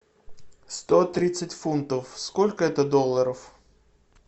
сто тридцать фунтов сколько это долларов